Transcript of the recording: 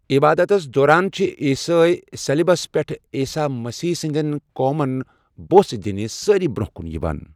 عِبادتس دوران، چھِ عیٖسٲے سلیبس پٮ۪ٹھ عیٖساح مسیٖح سٕنٛدٮ۪ن قومن بوسہٕ دِنہِ سٲری برٛونٛہہ کُن یِوان۔